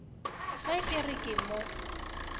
ge ke re ke mo